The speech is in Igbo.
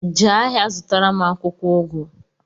Jee ahịa zụtaram akwụkwọ ugu!